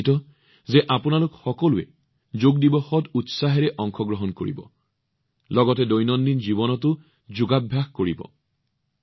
মই নিশ্চিত যে আপোনালোক সকলোৱে যোগ দিৱসত বৃহৎ পৰিসৰত অংশগ্ৰহণ কৰিব লগতে আপোনাৰ দৈনন্দিন জীৱনত যোগক গ্ৰহণো কৰিব